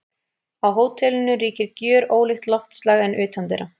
Á hótelinu ríkir gjörólíkt loftslag en utandyra.